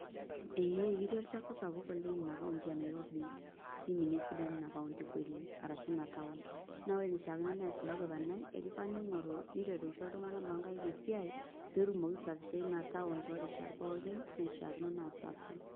Ee ketii olchafu sapuk oleng ina county e Nairobi niminie esidan ina county kweli ashu ina town na ore enishakino peas iko gavanai na keyieu ningoru nisho ltunganak lonkaik esiai petumoki aisafisha torishat pookin naishakino pa safi